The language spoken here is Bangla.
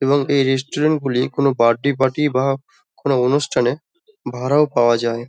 এবং এই রেস্টুরেন্ট -গুলি কোনো বার্থডে পার্টি বা কোনো অনুষ্ঠানে ভাড়াও পাওয়া যায় ।